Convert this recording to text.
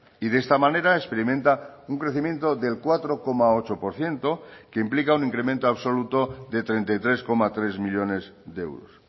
y de esta manera experimenta un crecimiento del cuatro coma ocho por ciento que implica un incremento absoluto de treinta y tres coma tres millónes de euros